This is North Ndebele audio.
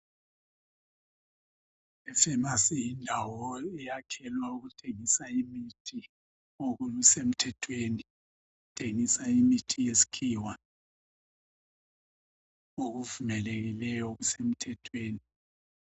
Ifamasi yindawo eyakhelwa ukuthengisa imithi okusemthethweni, ithengisa imithi yesikhiwa okuvumelekileyo okusemthethweni.